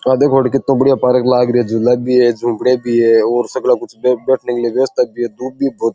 आ देखो अठ कितो बढ़िया पार्क लाग रो है झूले भी है झोपड़ी भी है और दूब भी है बहुत।